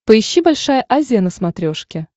поищи большая азия на смотрешке